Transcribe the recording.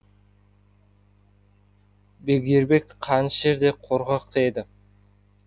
бегдербек қанішер де қорқақ та еді